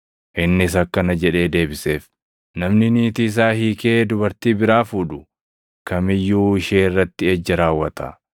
Innis akkana jedhee deebiseef; “Namni niitii isaa hiikee dubartii biraa fuudhu kam iyyuu ishee irratti ejja raawwata.